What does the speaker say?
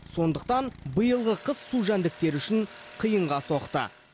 сондықтан биылғы қыс су жәндіктері үшін қиынға соқты